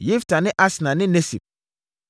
Yifta ne Asna ne Nesib,